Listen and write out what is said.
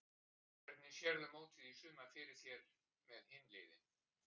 Hvernig sérðu mótið í sumar fyrir þér með hin liðin?